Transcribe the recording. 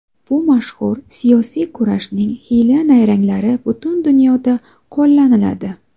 Bu mashhur... siyosiy kurashning hiyla-nayranglari butun dunyoda qo‘llaniladi.